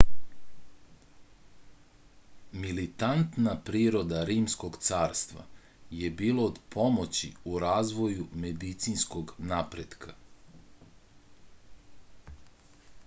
militantna priroda rimskog carstva je bila od pomoći u razvoju medicinskog napretka